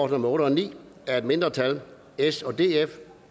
nummer otte og ni af et mindretal